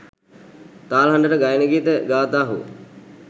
තාල හඬට ගයන ගීත ගාථා හෝ